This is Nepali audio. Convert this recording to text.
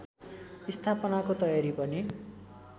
स्थापनाको तयारी पनि